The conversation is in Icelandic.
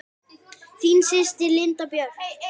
Þín systir, Linda Björk.